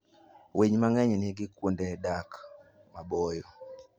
Winy mang'eny nigi kuonde dak maboyo.